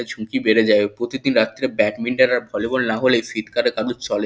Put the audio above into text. এ ঝুঁকি বেড়ে যায় প্রতিদিন রাত্তিরে ব্যাডমিন্টন আর ভলিবল না হলে শীতকালে কারুর চলে--